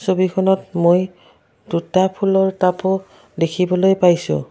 ছবিখনত মই দুটা ফুলৰ তাপো দেখিবলৈ পাইছোঁ।